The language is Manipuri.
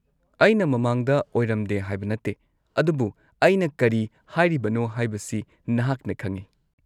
-ꯑꯩꯅ ꯃꯃꯥꯡꯗ ꯑꯣꯏꯔꯝꯗꯦ ꯍꯥꯏꯕ ꯅꯠꯇꯦ, ꯑꯗꯨꯕꯨ ꯑꯩꯅ ꯀꯔꯤ ꯍꯥꯏꯔꯤꯕꯅꯣ ꯍꯥꯏꯕꯁꯤ ꯅꯍꯥꯛꯅ ꯈꯪꯏ꯫